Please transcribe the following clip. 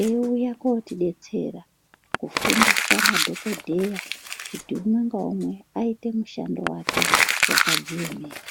eiuya kotidetsera kufundisa madhokodheya kuti umwe ngaumwe aite mushando wake wakadziemera.